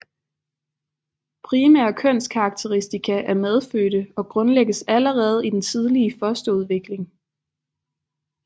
Primære kønskarakteristika er medfødte og grundlægges allerede i den tidlige fosterudvikling